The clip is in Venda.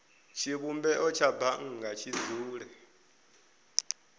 tshivhumbeo tsha bannga tshi dzule